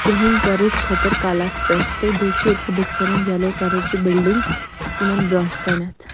کرٛہیٚنۍ کلرٕچ چٔھتٕرکلس پٮ۪ٹھ تہٕ بیٚیہِ چُھ ییٚتٮ۪تھ بُتھہِ کنٮ۪ن یلو کلرٕچ بِلڈِنگ .یِمن بروٗنٛٹھہٕ کنٮ۪تھ